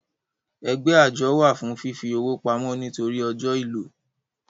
Ẹgbẹ́ àjọ wà fún fífi owó pamọ́ nítorí ọ́jọ ìlò